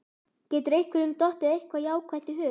Getur einhverjum dottið eitthvað eitt jákvætt í hug?